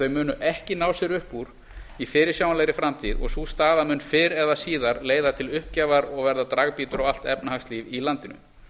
munu ekki ná sér upp úr í fyrirsjáanlegri framtíð og sú staða mun fyrr eða síðar leiða til uppgjafar og verða dragbítur á allt efnahagslíf í landinu